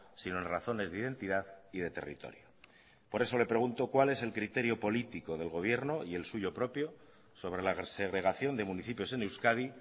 sino en razones de identidad y de territorio por eso le pregunto cuál es el criterio político del gobierno y el suyo propio sobre la segregación de municipios en euskadi